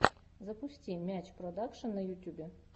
запусти мяч продакшен на ютюбе